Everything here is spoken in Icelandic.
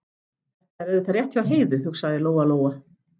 Þetta er auðvitað rétt hjá Heiðu, hugsaði Lóa-Lóa.